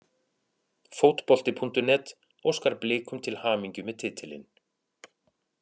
Fótbolti.net óskar Blikum til hamingju með titilinn.